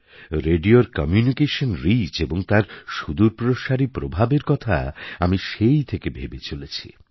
রেডিওর communication reach এবং তার সুদূরপ্রসারী প্রভাবের কথা আমি সেই থেকে ভেবে চলেছি